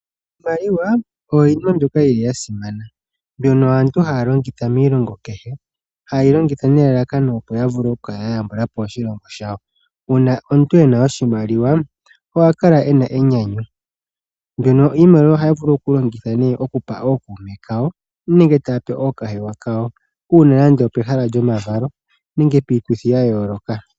Iimaliwa oyili ya simana mbyono aantu haya longitha miilongo kehe hayeyi longitha nelalakano opo yavule okukala ya yambulapo oshilongo shawo . Uuna omuntu ena oshimaliwa oha kala ena enyanyu ndjono iimaliwa haya vulu okulongitha nee okupa ookuume kawo nenge ookahewa kawo uuna nande opehala lyomavalo nenge piituthi ya yooloka.